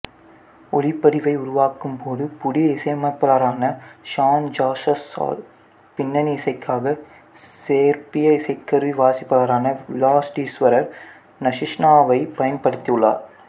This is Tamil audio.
ஒலிப்பதிவை உருவாக்கும் போது புதிய இசையமைப்பாளரான ஷான் ஜாஸ்ஸால் பின்னணி இசைக்காக சேர்பிய இசைக்கருவி வாசிப்பாளரான விளாடிஸ்வர் நஷீஷனாவைப் பயன்படுத்தியுள்ளார்